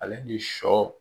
Ale ni shɔ.